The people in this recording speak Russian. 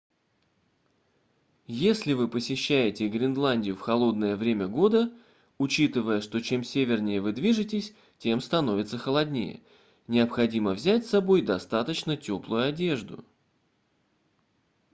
если вы посещаете гренландию в холодное время года учитывая что чем севернее вы движетесь тем становится холоднее необходимо взять с собой достаточно теплую одежду